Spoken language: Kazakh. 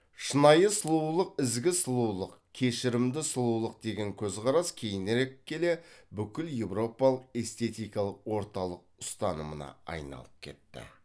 шынайы сұлулық ізгі сұлулық кешірімді сұлулық деген көзқарас кейінірек келе бүкіл еуропалық эстетикалық орталық ұстанымына айналып кетті